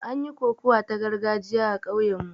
An yi kokawa ta gargajiya a kauyen mu